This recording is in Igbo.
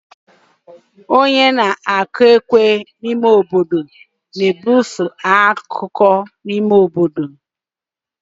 Onye na-akụ ekwe n'obodo na-ebufe akụkọ n'ime obodo.